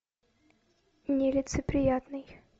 нелицеприятный